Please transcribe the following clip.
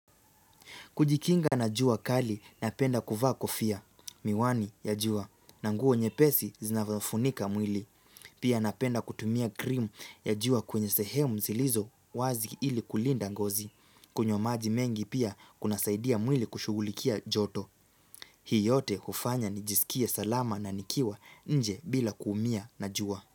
Kujikinga na jua kali napenda kuvaa kofia. Miwani ya jua na nguo nyepesi zinadhofunika mwili. Pia napenda kutumia krim ya jua kwenye sehemu zilizo wazi ili kulinda ngozi. Kunywa maji mengi pia kunasaidia mwili kushugulikia joto. Hii yote hufanya nijisikie salama na nikiwa nje bila kuumia na jua.